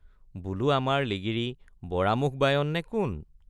বোলো আমাৰ লিগিৰী বড়া মুখ বায়ন নে কোন?